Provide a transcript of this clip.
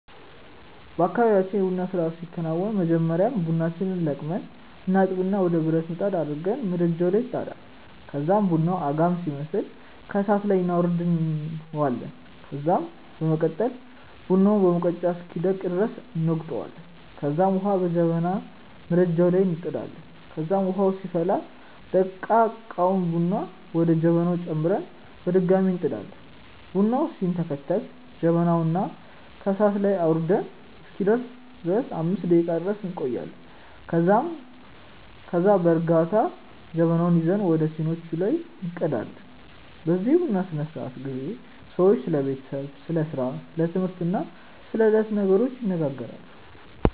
በአካባብያችን የ ቡና ስርአት ሲከናወን በመጀመሪያ ቡናችንን ለቅመን እናጥብና ወደ ብረት ምጣድ አድርገን ምድጃዉ ላይ ይጣዳል ከዛም ቡናዉ አጋም ሲመስል ከእሳት ላይ እናወርዳለን ከዛም በመቀጠል ቡናውን በሙቀጫ እስኪደቅ ድረስ እንወቅጣለንከዛም ዉሀ በጀበና ምድጃዉ ላይ እንጥዳለን ከዛም ዉሀዉ ሲፈላ ደቀቀዉን ቡና ወደ ጀበናዉ ጨምረን በድጋሚ እንጥዳለን። ቡናዉ ሲንተከተክ ጀበናዉን ከእሳት ላይ አዉርደን እስኪሰክን ድረስ 5 ደቄቃ ድረስ እንቆያለን ከዛም ከዛ በእርጋታ ጀበናዉን ይዘን ወደ ሲኒዋቹ ላይ እንቀዳለን። በዚህ የቡና ስነስርዓት ጊዜ ሰዎች ስለ ቤተሰብ፣ ስለ ስራ፣ ስለ ትምህርት እና ስለ የዕለቱ ነገሮች ይነጋገራሉ።